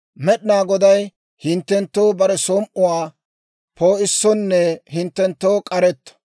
Med'inaa Goday hinttenttoo bare som"uwaa poo'issonne hinttenttoo k'aretto;